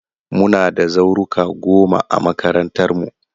Muna da zauruka goma a makarantarmu.